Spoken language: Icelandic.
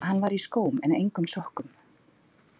Hann var í skóm en engum sokkum.